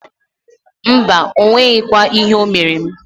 Mbaǃ O nweghikwa ihe o mere m.